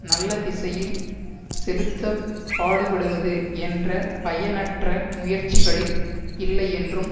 நல்லதிசையில் செலுத்தப்பாடுபடுவது என்ற பயனற்ற முயற்சிகளில் இல்லையென்றும்